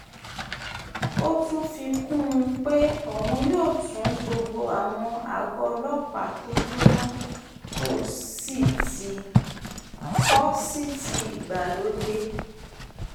ó tún fi kún un pé òun yóò tún gbogbo àwọn àgọ́ ọlọ́pàá tó jóná kó sì ti ìgbàlódé